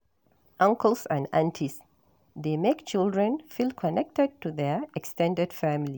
Uncles and aunties dey make children feel connected to their ex ten ded family